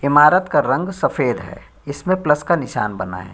इमारत का रंग सफ़ेद है इसमें प्लस का निशान बना है।